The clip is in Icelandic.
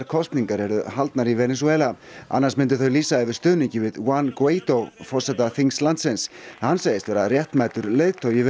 kosningar yrðu haldnar í Venesúela annars myndu þau lýsa yfir stuðningi við Juan Guaido forseta þings landsins hann segist vera réttmætur leiðtogi